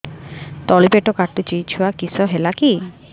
ତଳିପେଟ କାଟୁଚି ଛୁଆ କିଶ ହେଲା କି